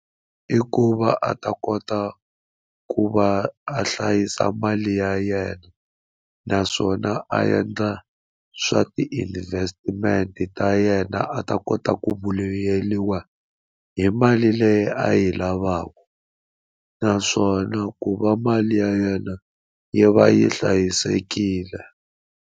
I ku va a ta kota ku va a hlayisa mali ya yena naswona a endla swa ti-investment ta yena a ta a kota ku vuyeriwa hi mali leyi a yi lavaka naswona ku va mali ya yena yi va yi hlayisekile.